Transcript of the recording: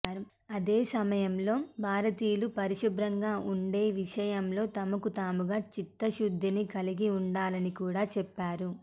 అదే సమయంలో భారతీయులు పరిశుభ్రంగా ఉండే విషయంలో తమకు తాముగా చిత్తశుద్ధిని కలిగి ఉండాలని కూడా చెప్పారు